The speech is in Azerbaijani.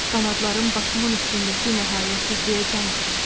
Qanadlarım başımın üstündəki nəhayətsizliyə can atırdı.